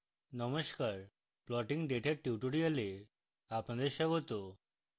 নমস্কার plotting data এর tutorial আপনাদের স্বাগত